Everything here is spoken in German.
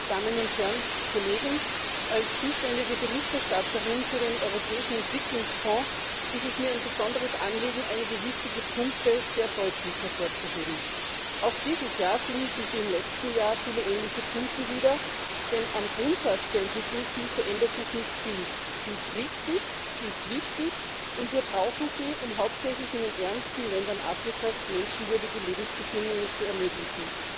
Frau Präsidentin, meine Damen und Herren Kollegen! Als zuständige Berichterstatterin für den Europäischen Entwicklungsfonds ist es mir ein besonderes Anliegen, einige wichtige Punkte sehr deutlich hervorzuheben. Auch dieses Jahr finden sich, wie im letzten Jahr, viele ähnliche Punkte wieder, denn am Grundsatz der Entwicklungshilfe ändert sich nicht viel. Sie ist richtig, sie ist wichtig, und wir brauchen sie, um hauptsächlich in den ärmsten Ländern Afrikas menschenwürdige Lebensbedingungen zu ermöglichen.